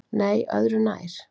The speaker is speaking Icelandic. Nei- öðru nær!